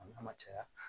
A n'a ma caya